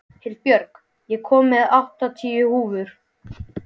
Hildibjörg, ég kom með áttatíu húfur!